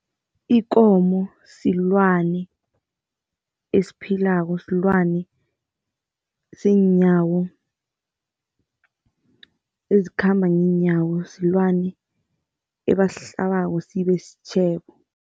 Ikomo silwane esiphilako, silwane seenyawo, esikhamba ngeenyawo, silwane ebasihlabako sibe sitjhebo.